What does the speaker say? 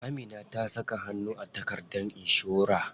Amina ta saka hannu a takardar inshora.